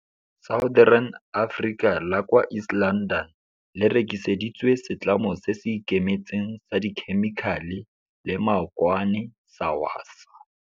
Southern Africa la kwa East London le rekiseditswe setlamo se se ikemetseng sa dikhemikhale le maokwane sa Wasaa.